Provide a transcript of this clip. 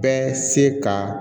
Bɛ se ka